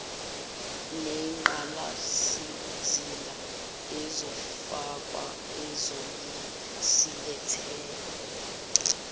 nengqalasizinda ezofakwa ezosilethela